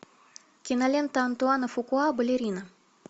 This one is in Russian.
кинолента антуана фукуа балерина